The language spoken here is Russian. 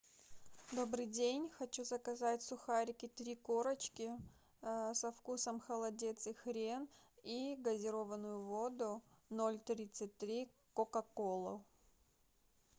добрый день хочу заказать сухарики три корочки со вкусом холодец и хрен и газированную воду ноль тридцать три кока колу